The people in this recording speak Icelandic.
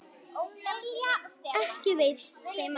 Ekki veitir þeim af.